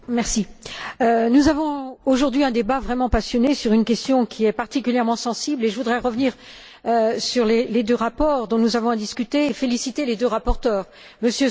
Monsieur le Président, nous menons aujourd'hui un débat vraiment passionné sur une question qui est particulièrement sensible. Je voudrais revenir sur les deux rapports dont nous avons à discuter et féliciter les deux rapporteurs, M.